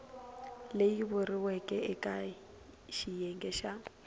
leyi vuriweke eka xiyenge xa